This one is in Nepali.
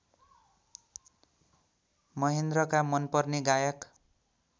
महेन्द्रका मनपर्ने गायक